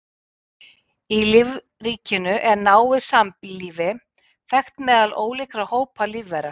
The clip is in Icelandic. Í lífríkinu er náið samlífi þekkt meðal ólíkra hópa lífvera.